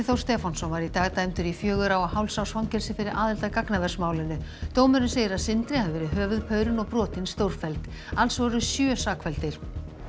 Þór Stefánsson var í dag dæmdur í fjögurra og hálfs árs fangelsi fyrir aðild að gagnaversmálinu dómurinn segir að Sindri hafi verið höfuðpaurinn og brotin stórfelld alls voru sjö sakfelldir